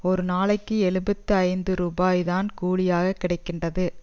ஒரு நாளைக்கு எழுபத்தி ஐந்து ரூபாய் தான் கூலியாகக் கிடை கின்றது